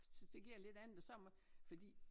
Så det giver lidt andet det så med fordi